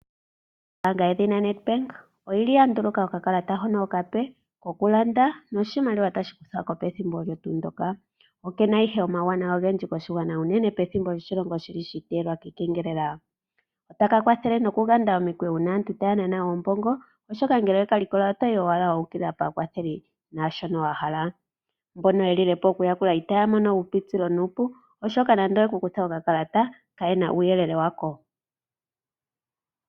Ombaanga yedhina Nedbank oyi li ya nduluka okakalata hono okape, kokulanda, noshimaliwa tashi kuthwa ko pethimbo olyo tuu ndyoka. Oke na ihe omauwanawa ogendji koshigwana unene pethimbo lyoshilongo shi li shi iteyelwa kiikengelela. Otaka kwathele nokuganda omikweyo uuna aantu taya nana oombongo, oshoka ngele owe ka likola, oto yi owala wa ukilila paakwatheli naashono wa hala. Mbono ye lile po okuyakula itaya mono uupitilo nuupu, oshoka nande oye ku kutha okakalata, kaye na uuyelele wako.